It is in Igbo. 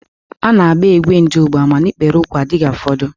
A na-agba égwé ndụgba, mana ikpere úkwú adịghị afọdu.